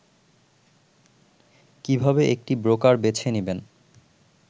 কিভাবে একটি ব্রোকার বেছে নিবেন